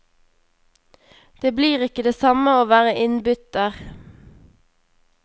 Det blir ikke det samme å være innbytter.